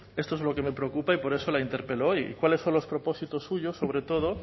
esto es lo que me preocupa y por eso la interpelo hoy cuáles son los propósitos suyos sobre todo